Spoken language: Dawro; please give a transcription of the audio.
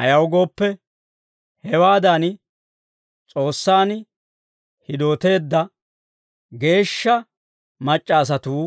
Ayaw gooppe, hewaadan S'oossaan hidooteedda geeshsha mac'c'a asatuu